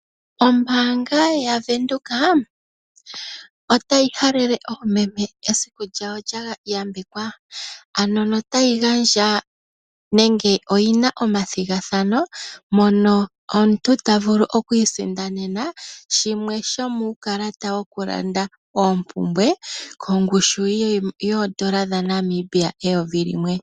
Ombaanga yaVenduka otayi halele oomeme esiku lyawo lya yambekwa. Ano notayi gandja nenge oyina omathigathano mono omuntu ta vulu okwi isindanena shimwe shomuu kalata wongushu yoondola dhaNamibia eyovi limwe.